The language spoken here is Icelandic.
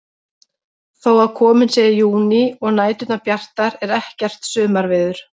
Þó að kominn sé júní og næturnar bjartar er ekkert sumarveður.